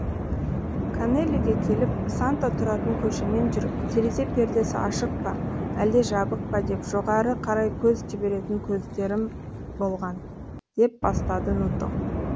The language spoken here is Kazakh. канеллиге келіп санта тұратын көшемен жүріп терезе пердесі ашық па әлде жабық па деп жоғары қарай көз жіберетін кездерім болған деп бастады нуто